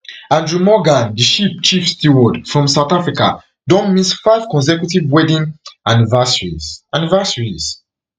adrian morgan di ship chief steward from south africa don miss five consecutive wedding anniversaries anniversaries